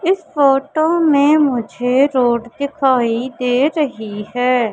इस फोटो में मुझे रोड दिखाई दे रही है।